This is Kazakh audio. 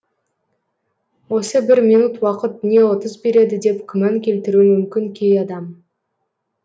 осы бір минут уақыт не ұтыс береді деп күмән келтіруі мүмкін кей адам